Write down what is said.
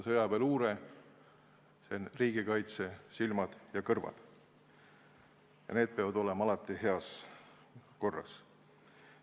Sõjaväeluure, see on riigikaitse silmad ja kõrvad, need peavad olema alati heas korras.